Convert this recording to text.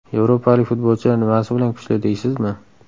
Yevropalik futbolchilar nimasi bilan kuchli, deysizmi?